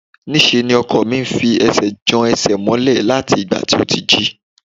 Níṣe ni ọkọ mi ń fi ẹsẹ̀ jan ẹsẹ̀ mọ́lẹ̀ láti ìgbà tí ó ti jí